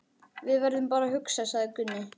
Við verðum bara að hugsa, sagði Gunni.